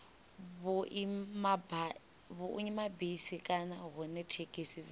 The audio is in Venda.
vhuimabisi kana hune thekhisi dza